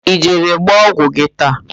Ị jere gba ọgwụ gị taa?